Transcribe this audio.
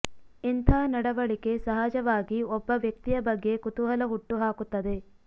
ಇಂಥ ನಡವಳಿಕೆ ಸಹಜವಾಗಿ ಒಬ್ಬ ವ್ಯಕ್ತಿಯ ಬಗ್ಗೆ ಕುತೂಹಲ ಹುಟ್ಟು ಹಾಕುತ್ತದೆ